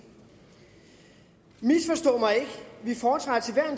misforstå mig ikke vi foretrækker til